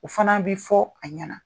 O fana bi fɔ a ɲɛna.